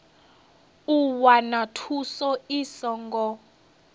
u wana thuso i songo